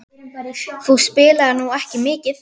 Þú spilaðir nú ekki mikið?